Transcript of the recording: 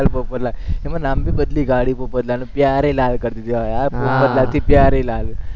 પોપટલાલ, એમાં નામ ભી બદલી કાઢ્યું પોપટલાલે, પ્યારેલાલ કરી દીધું પોપટલાલથી પ્યારેલાલ